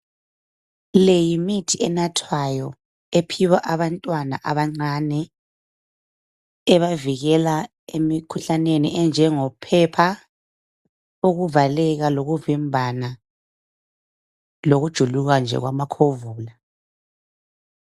Le yimithi enathwayo ephiwa abantwana abancane ebavikela emikhuhlaneni enjengo phepha, ukuvaleka, lokuvimbana lokujuluka nje kwamakhovula.